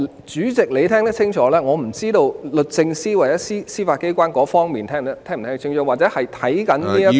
主席，你可能聽得清楚，但我不知道律政司或司法機構有否聽清楚，或者正在收看的......